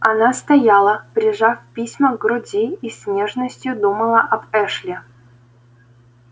она стояла прижав письма к груди и с нежностью думала об эшли